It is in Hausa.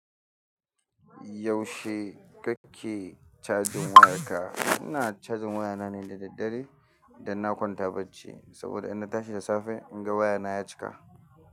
Yaushe kake cajin wayarka? Ina cajin wayana ne da daddare. Idan na kwanta bacci, saboda in na tashi da safe, in ga wayana ya cika.